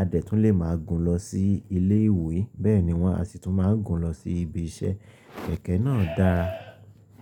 A dẹ̀ tún lè máa gùn lọ sí ilé ìwé. Bẹ́ẹ̀ ni wọ́n á sì tún máa gùn lọ sí ibi iṣẹ́. Kẹ̀kẹ́ náà dára.